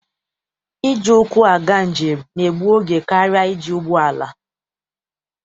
Iji ụkwụ aga njem na-egbu oge karịa iji ụgbọala.